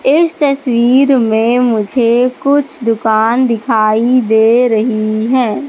इस तस्वीर में मुझे कुछ दुकान दिखाई दे रही हैं।